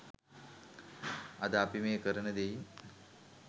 අද අපි මේ කරන දෙයින්